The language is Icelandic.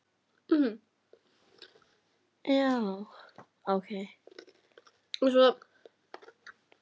Og mörgum öðrum.